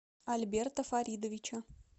альберта фаридовича